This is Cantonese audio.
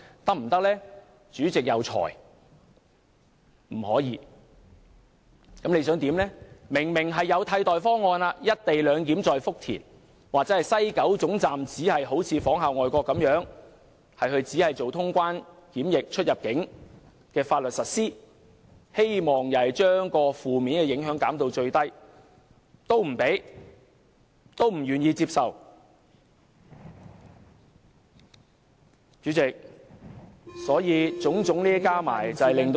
我們提出在福田實施"一地兩檢"的替代方案，但政府不接受，我們提出西九龍總站仿效外國，只實行清關、出入境、檢疫相關的大陸法律，希望把負面影響減至最低，但主席不批准我們的修正案。